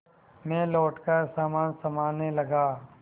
मैं लौटकर सामान सँभालने लगा